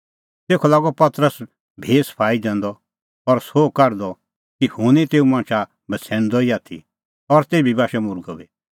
तेखअ लागअ पतरस भी सफाई दैंदअ और सोह काढदअ कि हुंह निं तेऊ मणछा बछ़ैणदअ ई आथी और तेभी बाशअ मुर्गअ बी